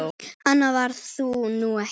Annað var það nú ekki.